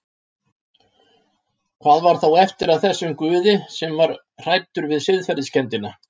Hvað var þá eftir af þessum Guði sem var hræddur við siðferðiskenndina?